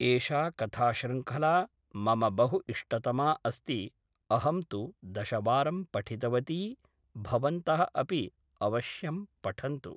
एषा कथाशृङ्खला मम बहु इष्टतमा अस्ति अहं तु दशवारं पठितवती भवन्तः अपि अवश्यं पठन्तु